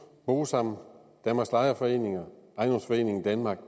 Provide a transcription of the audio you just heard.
bosam danmarks lejerforeninger og ejendomsforeningen danmark